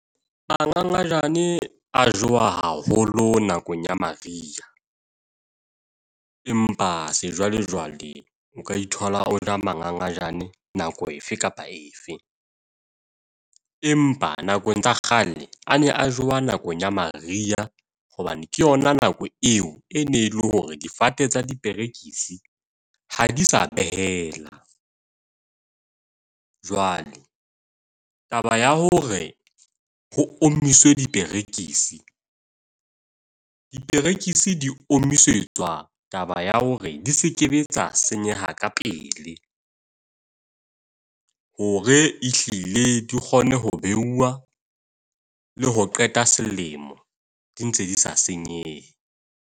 Mangangajane a jewa haholo nakong ya Maria. Empa sejwalejwale, o ka ithola o ja mangangajane nako efe kapa efe. Empa nakong tsa kgale a ne a jewa nakong ya Maria, hobane ke yona nako eo e ne le hore difate tsa diperekisi ha di sa behela. Jwale taba ya hore ho omiswe diperekisi, diperekisi di omiswetswa taba ya hore di se ke tsa senyeha ka pele. Hore e hlile di kgone ho buuwa le ho qeta selemo, di ntse di sa senyehe.